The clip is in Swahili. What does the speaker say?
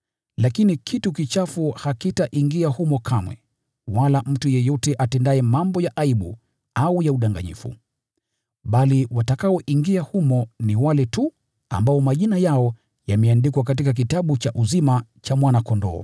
Lakini kitu kichafu hakitaingia humo kamwe, wala mtu yeyote atendaye mambo ya aibu au ya udanganyifu. Bali watakaoingia humo ni wale tu ambao majina yao yameandikwa katika kitabu cha uzima cha Mwana-Kondoo.